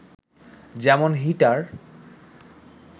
যেমন হিটার